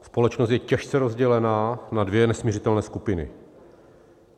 Společnost je těžce rozdělená na dvě nesmiřitelné skupiny.